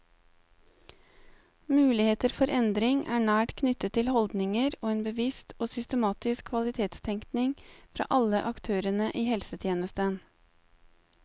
Muligheter for endring er nært knyttet til holdninger og en bevisst og systematisk kvalitetstenkning fra alle aktørene i helsetjenesten.